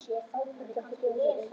Ætlarðu ekki að bjóða mér inn?